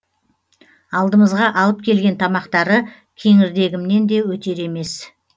алдымызға алып келген тамақтары кеңірдегімнен де өтер емес